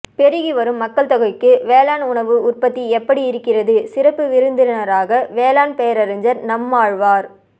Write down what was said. பெறுகி வரும் மக்கள் தொகைக்கு வேளாண் உணவு உற்பத்தி எப்படி இருக்கிறது சிறப்பு விருந்தினராக வேளாண் பேரறிஞர் நம்மாழ்வார்